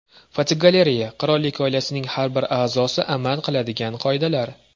Fotogalereya: Qirollik oilasining har bir a’zosi amal qiladigan qoidalar.